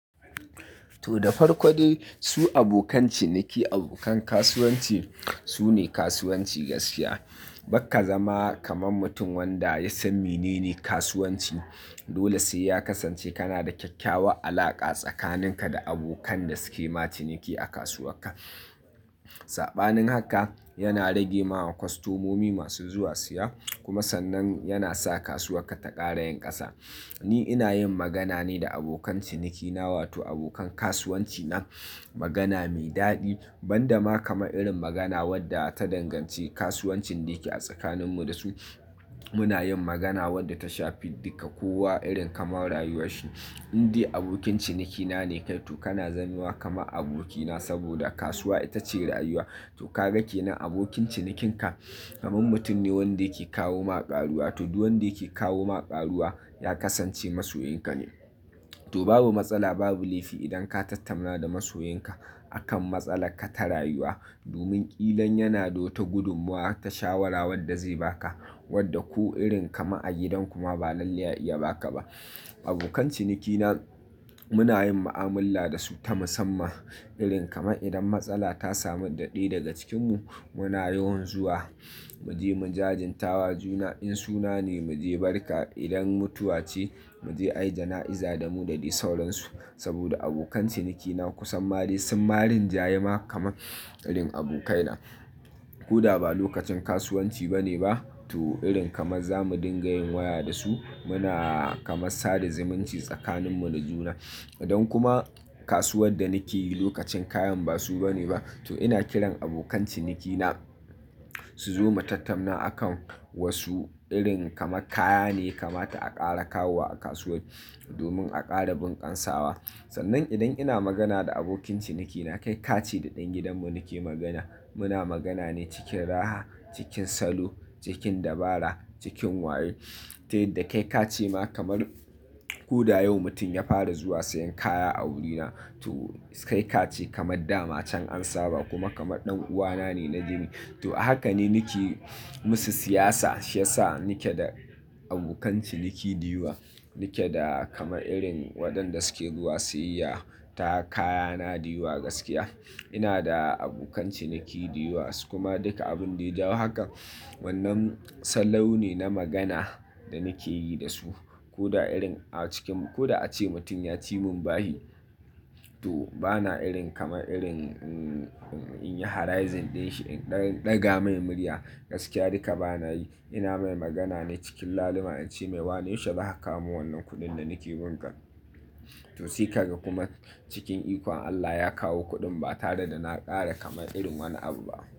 To, da farko dai su abokan ciniki, abokan kasuwanci su ne kasuwanci gaskiya. Bakka zama kaman mutum wanda ya san menene kasuwanci, dole sai ya kasance kana da kyakkyawan alaƙa tsakaninka da abokan da suke ma ciniki a kasuwar ka. Saɓanin haka yana rage ma kwastomomi masu zuwa siya kuma sannan yana sa kasuwar ka ta ƙara yin ƙasa. Ni ina yin magana ne da abokan cinikina wato abokan kasuwanci na magana mai daɗi, ban da ma kama irin magana wadda ta danganci kasuwancin da yake tsakaninmu da su. Muna yin magana wadda ta shafi dukka kowa irin kamar rayuwar shi. In dai abokin cinikina ne kai, to kana zamewa kama abokina saboda kasuwa ita ce rayuwa. To ka gane abokin cinikinka kaman mutum ne wanda yake kawo ma ƙaruwa, to duk wanda yake kawo ma ƙaruwa ya kasance masoyin ka ne. To babu matsala, babu laifi idan ka tattamna da masoyin ka akan matsala ka ta rayuwa domin ƙilan yana da wata gudummawa ta shawara wadda zai baka wadda ko irin kama a gidan kuma ba lallai a iya baka ba. Abokan cinikina muna yin ma'amala da su ta musamman irin kama idan matsala ta samu da ɗaya daga cikinmu muna yawan zuwa, mu je mu jajintawa juna in suna ne mu je barka, idan mutuwa ce mu je ayi jana'iza da mu dade sauransu saboda abokan cinikina kusan ma dai sun ma rin jayi ma kama irin abokaina. Ko da ba lokacin kasuwanci ba ne ba to irin kama zamu dinga yin waya da su, muna kama sada zimunci tsakaninmu da juna. Idan kuma kasuwar da nake yi lokacin kayan ba su ba ne ba to ina kiran abokan cinikina su zo mu tattamna akan wasu irin kama kaya ne yaka mata a ƙara kawo wa a kasuwa domin a ƙara bunƙasawa. Sannan idan ina magana da abokin cinikina kai kace da ɗan gidan mu nake magana, muna magana ne cikin raha, cikin salo, cikin dabara, cikin wayo. Tai yadda kai ka ce ma kamar ko da yau mutum ya fara zuwa sayan kaya a wurina to kai ka ce kamar dama can an saba kuma kama ɗan uwana ne na jini. To a haka ne nake musu siyasa, shi ya sa nike da abokan ciniki da yawa, nike da kama irin waɗanda suke zuwa siyayya ta kaya na da yawa gaskiya. Ina da abokan ciniki da yawa su kuma duka abin da ya jawo hakan wannan sallau ne na magana da nake yi da su ko da irin a cikin ko da ace mutum ya ci mun bahi to bana irin kama irin in yi harazin ɗinshi, in ɗan ɗaga mai murya gaskiya duka bana yi. Ina mai magana ne cikin lalima in ce mai "wane yausha zaka kawo min wannan kuɗin da nake binka?" To sai ka ga kuma cikin ikon Allah ya kawo kuɗin ba tare da na ƙara kama irin wani abu ba.